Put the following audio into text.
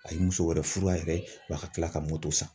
A ye muso wɛrɛ furu a yɛrɛ ye wa ka tila ka moto san.